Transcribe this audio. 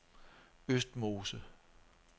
Østmose